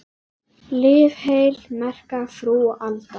Lif heil, merka frú Alda.